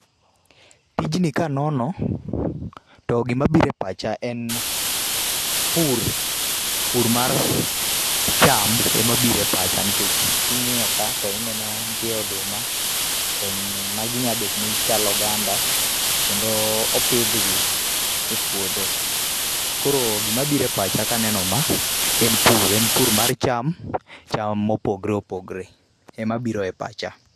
Tijni ka anono, to gima biro e pacha en pur, pur mar cham ema biro e pacha. Nikech kingíyo ka, to ineno ka ntie oduma, to magi nyalo bet ni chal oganda, kendo opidhgi e puodho. Koro gima biro e pacha ka aneno ma en pur, en pur mar cham, cham mopogore opogore ema biro e pacha.